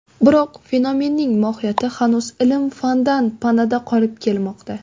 Biroq fenomenning mohiyati hanuz ilm-fandan panada qolib kelmoqda.